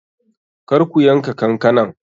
Kar ku yanka kankanan!